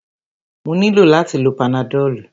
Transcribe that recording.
Mo nílò láti lo panadọ́lú.